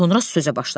Sonra sözə başladı.